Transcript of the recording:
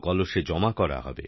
কলসে জমা করা হবে